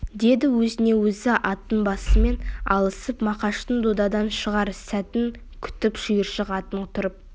деді өзіне-өзі аттың басымен алысып мақаштың додадан шығар сәтін күтіп шиыршық атып тұрып